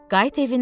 Qayıt evinə.